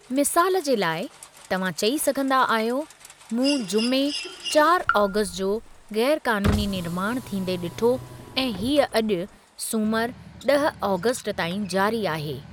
मिसालु जे लाइ, तव्हां चई सघंदा आहियो, मूं जुमे, चारि आगस्टु जो गै़रु क़ानूनी निर्माणु थींदे डि॒ठो ऐं हीअ अॼु, सूमरु, ॾह आगस्टु ताईं जारी आहे।